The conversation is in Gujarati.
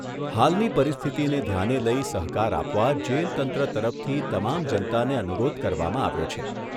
હાલની પરિસ્થિતિને ધ્યાને લઈ સહકાર આપવા જેલ તંત્ર તરફથી તમામ જનતાને અનુરોધ કરવામાં આવ્યો છે.